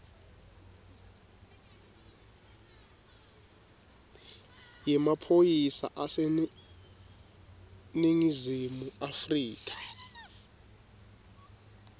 yemaphoyisa aseningizimu afrika